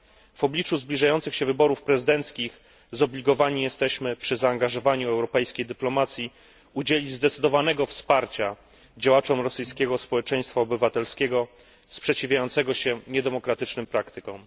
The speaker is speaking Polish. W obliczu zbliżających się wyborów prezydenckich jesteśmy zobligowani, przy zaangażowaniu europejskiej dyplomacji, do udzielenia zdecydowanego wsparcia działaczom rosyjskiego społeczeństwa obywatelskiego sprzeciwiającego się niedemokratycznym praktykom.